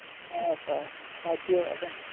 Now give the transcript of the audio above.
સાચી વાત હે.